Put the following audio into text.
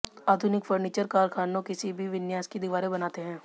आधुनिक फर्नीचर कारखानों किसी भी विन्यास की दीवारें बनाते हैं